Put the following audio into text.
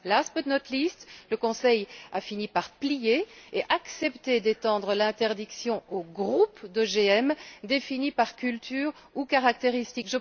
Last but not least le Conseil a fini par plier et accepter d'étendre l'interdiction aux groupes d'OGM définis par culture ou caractéristique.